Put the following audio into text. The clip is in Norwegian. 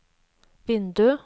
vindu